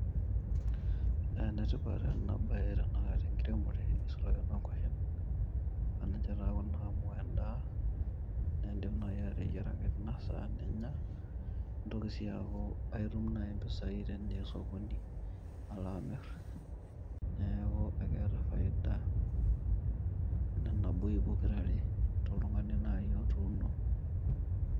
Ene tipat ena bae ene nkiremore neisulaki enoo nkwashen amu ninche taa Kuna amu en'daa. Naa enkidim naji ateyieraki Tina sana ninya nintoki sii aaku aitum mpisai teniya osokoni ala amir . Neeku eeketa faida pokirare toltungani naji otuno